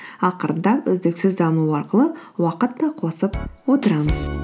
ақырындап үздіксіз даму арқылы уақыт та қосып отырамыз